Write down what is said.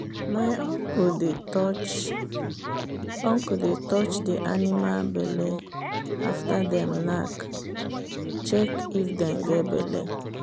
my uncle dey touch uncle dey touch the animal belle after them knack check if them get belle.